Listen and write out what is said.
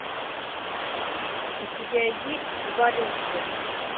у тебя есть эволюция